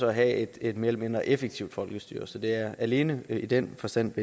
at have et mere eller mindre effektivt folkestyre så det er alene i den forstand og